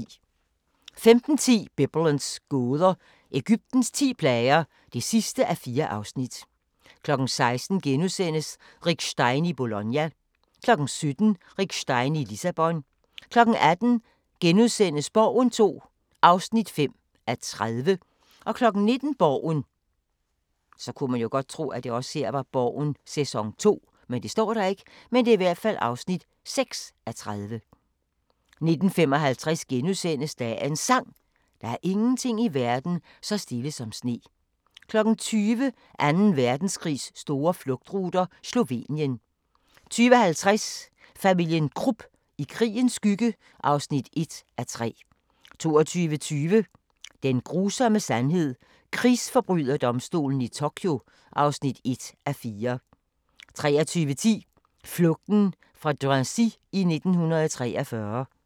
15:10: Biblens gåder – Egyptens ti plager (4:4) 16:00: Rick Stein i Bologna * 17:00: Rick Stein i Lissabon 18:00: Borgen II (5:30)* 19:00: Borgen (6:30) 19:55: Dagens Sang: Der er ingenting i verden så stille som sne * 20:00: Anden Verdenskrigs store flugtruter – Slovenien 20:50: Familien Krupp – i krigens skygge (1:3) 22:20: Den grusomme sandhed – Krigsforbryderdomstolen i Tokyo (1:4) 23:10: Flugten fra Drancy i 1943